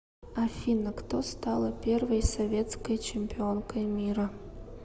афина кто стала первой советской чемпионкой мира